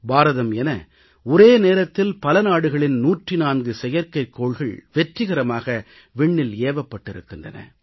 பாரதம் என ஒரே நேரத்தில் பல நாடுகளின் 104 செயற்கைகோள்கள் வெற்றிகரமாக விண்ணில் ஏவப்பட்டிருக்கின்றன